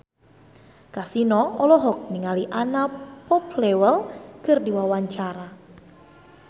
Kasino olohok ningali Anna Popplewell keur diwawancara